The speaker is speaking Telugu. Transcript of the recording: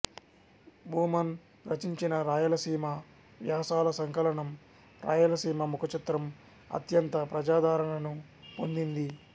భూమన్ రచించిన రాయలసీమ వ్యాసాల సంకలనం రాయలసీమ ముఖచిత్రం అత్యంత ప్రజాదరణను పొందింది